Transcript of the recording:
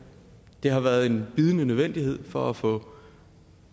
det har været en bydende nødvendighed for at få